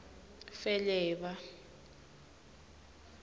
feleba